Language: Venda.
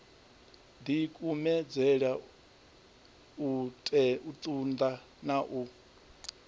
dikumedzele u tunda na u